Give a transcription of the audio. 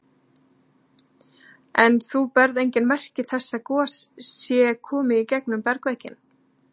En þú sérð engin merki þess að gos sé komið í gegnum bergvegginn?